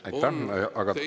Aitäh!